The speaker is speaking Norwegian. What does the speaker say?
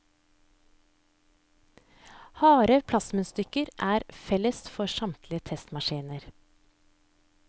Harde plastmunnstykker er felles for samtlige testmaskiner.